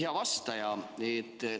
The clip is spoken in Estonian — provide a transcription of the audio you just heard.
Hea vastaja!